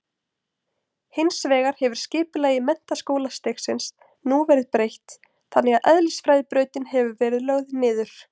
Hins vegar hefur skipulagi menntaskólastigsins nú verið breytt þannig að eðlisfræðibrautin hefur verið lögð niður.